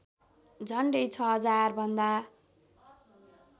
झन्डै ६००० भन्दा